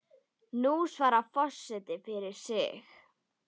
Nú svarar forseti fyrir sig.